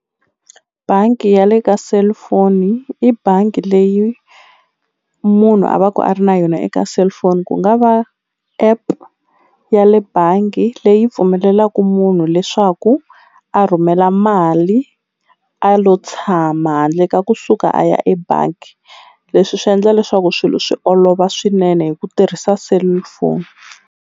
Bangi ya le ka cellphone i bangi leyi munhu a va ku a ri na yona eka cellphone ku nga va app ya le bangi leyi pfumelelaku munhu leswaku a rhumela mali a lo tshama handle ka kusuka a ya ebangi leswi swi endla leswaku swilo swi olova swinene hi ku tirhisa cellphone.